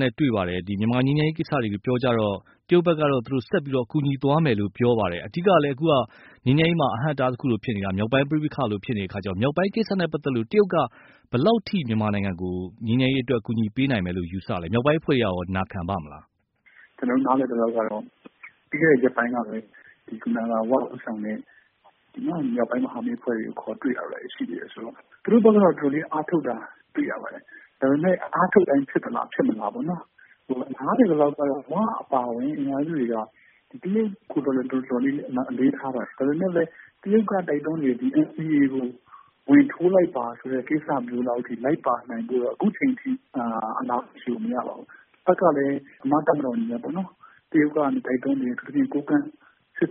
နဲ့ တွေ့ပါတယ်။ ဒီမြန်မာငြိမ်းချမ်းရေးကိစ္စတွေပြောကြတော့ တရုတ်ဘက်ကတော့ ဆက်ပြီးတော့ ကူညီသွားမယ် လို့ပဲပြောပါတယ်။ အဓိကလည်း အခုငြိမ်းချမ်းရေးမှာ အဟန့်အတားလိုဖြစ်နေတာ မြောက်ပိုင်း ပဋိပက္ခ တွေလိုဖြစ်နေတဲ့အခါကျတော့ မြောက်ပိုင်းကိစ္စနဲ့ ပတ်သက်လို့ ဘယ်လောက် အထိမြန်မာနိုင်ငံကို ငြိမ်းချမ်းရေးအတွက် အကူအညီပေးနိုင်မယ်လို့ ယူဆပါသလဲ။ မြောက်ပိုင်းအဖွဲ့တွေကရော နာခံပါ့မလား။ ကျနော်တို့နားလည်သလောက်ကတော့ ပြီးခဲ့တဲ့ရက်ပိုင်းကလည်း ၀ ဦးဆောင်တဲ့ မြောက်ပိုင်းအဖွဲ့တွေကို တရုတ်က ခေါ်တွေ့တာတော့ရှိတာပဲ။သူတို့ဘက်ကတော့ တော်တော်လေးအားထုတ်တာတွေ့ရပါတယ်။ ဒါပေမယ့် အားထုတ်တိုင်းဖြစ်မလား၊ဖြစ်မလားဆိုတာကတော့။ နားလည်သလောက်ကတော့ ဝအပါအဝင် တခြားအဖွဲ့တွေကိုတော့ ဒါကိုတော့ အလေးထားပါတယ်။ ဒါက တရုတ်ကတိုက်တွန်းနေပြီး ဒီNCA ကိုဝင်ထိုးလိုက်ပါဆိုပြီး လိုက်ပါနိုင်ဖို့ကတော့ အခုအချိန်အထိ အဲဒီလောက်အဖြေကိုမရပါဘူး။ တဖက်ကလည်း မြန်မာ့တပ်မတော်အနေနဲ့ပေါ့နော် တရုတ်ကနေ တိုက်တွန်းနေတဲ့ ကိုးကန့်စစ်